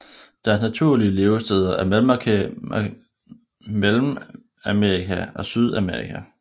Deres naturlige levesteder er Mellemamerika og Sydamerika